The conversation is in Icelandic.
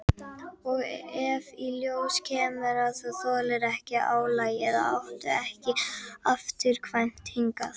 Og ef í ljós kemur að þú þolir ekki álagið áttu ekki afturkvæmt hingað.